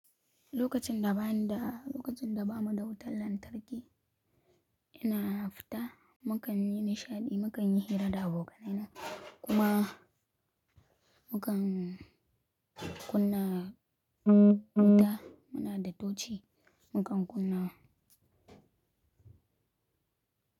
Lokacin da bani da, lokacin da ba mu da wutar lantarki, ina fita, mu kan yi nishaɗi, mu kan yi hira da abokanai na. Kuma mu kan kunna wuta, muna da tuci, mu kan kunna.